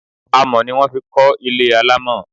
Amọ̀ ni wón fi kọ́ ilé alámọ̀.